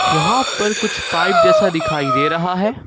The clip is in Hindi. यहां पर कुछ पाइप जैसा दिखाई दे रहा है।